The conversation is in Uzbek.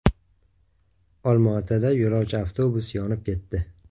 Olmaotada yo‘lovchi avtobus yonib ketdi.